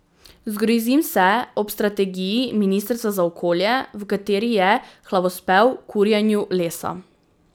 Zgrozim se ob strategiji ministrstva za okolje, v kateri je hvalospev kurjenju lesa.